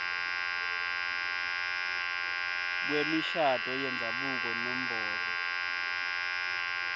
kwemishado yendzabuko nombolo